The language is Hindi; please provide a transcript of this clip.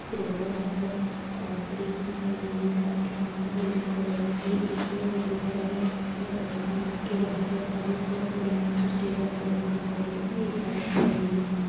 रोड है यहां पर एक कार खड़ी हुई दिखाई दे रही है कार के सामने दो लोग खड़े हुए है ये एक हो-होटल है होटल में के बहार बहुत सारी चेयर पड़ी हुई है कुछ टेबल पडे हुई दिखाई दे रहे है एक बाइक खड़ी हुई है।